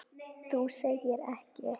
Þú segir ekki?